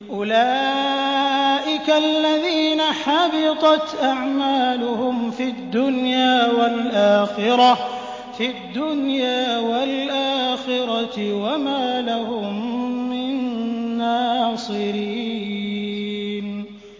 أُولَٰئِكَ الَّذِينَ حَبِطَتْ أَعْمَالُهُمْ فِي الدُّنْيَا وَالْآخِرَةِ وَمَا لَهُم مِّن نَّاصِرِينَ